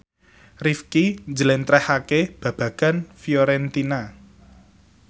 Rifqi njlentrehake babagan Fiorentina